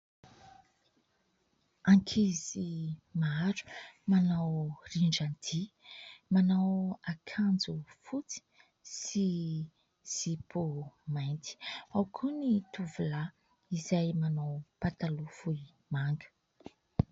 Ankizy maro manao rindran-dihy manao akanjo fotsy sy zipo mainty ; ao koa ny tovolahy izay manao pataloha fohy manga.